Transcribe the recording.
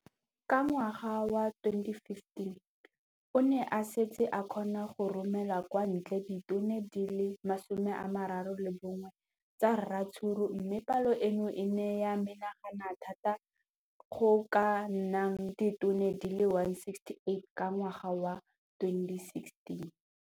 Ka ngwaga wa 2015, o ne a setse a kgona go romela kwa ntle ditone di le 31 tsa ratsuru mme palo eno e ne ya menagana thata go ka nna ditone di le 168 ka ngwaga wa 2016.